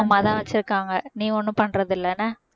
அம்மாதான் வச்சிருக்காங்க நீ ஒண்ணும் பண்றது இல்லை என்ன